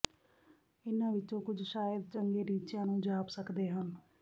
ਇਨ੍ਹਾਂ ਵਿਚੋਂ ਕੁਝ ਸ਼ਾਇਦ ਚੰਗੇ ਟੀਚਿਆਂ ਨੂੰ ਜਾਪ ਸਕਦੇ ਹਨ